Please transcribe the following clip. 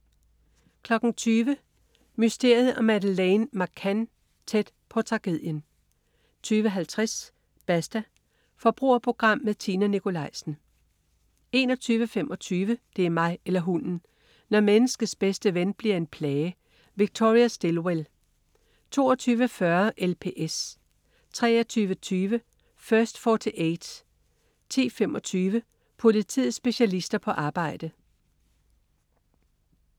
20.00 Mysteriet om Madeleine McCann. Tæt på tragedien 20.50 Basta. Forbrugerprogram med Tina Nikolaisen 21.25 Det er mig eller hunden! Når menneskets bedste ven bliver en plage. Victoria Stilwell 22.40 LPS 23.20 First 48 10:25. Politiets specialister på arbejde